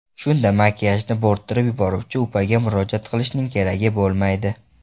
Shunda makiyajni bo‘rttirib yuboruvchi upaga murojaat qilishning keragi bo‘lmaydi.